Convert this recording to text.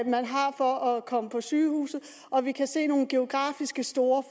man har for at komme på sygehuset og at vi kan se nogle geografiske store